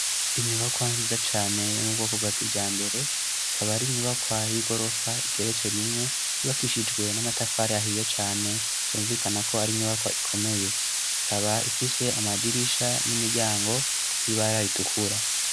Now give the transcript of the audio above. Inyubakwa nziza cane yo mu bwoko bwa kija mbere ikaba ari inyubakwa y'i gorofa igeretswe rimwe ryubakishijwe n'amatafari ahiye cane vyumvikana ko ari inyubakwa ikomeye ikaba ifise amadirisha n'imiryango y'ibara ritukura.